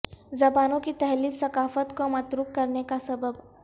زبانوں کی تحلیل ثقافت کو متروک کرنے کا سبب